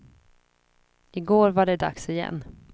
I går var det dags igen.